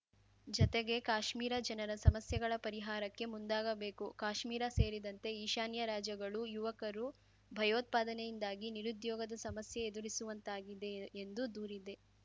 ಜತೆಗೆ ಕಾಶ್ಮೀರ ಜನರ ಸಮಸ್ಯೆಗಳ ಪರಿಹಾರಕ್ಕೆ ಮುಂದಾಗಬೇಕು ಕಾಶ್ಮೀರ ಸೇರಿದಂತೆ ಈಶಾನ್ಯ ರಾಜ್ಯಗಳು ಯುವಕರು ಭಯೋತ್ಪಾದನೆಯಿಂದಾಗಿ ನಿರುದ್ಯೋಗದ ಸಮಸ್ಯೆ ಎದುರಿಸುವಂತಾಗಿದೆ ಎಂದು ದೂರಿದೆ